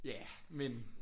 Ja men?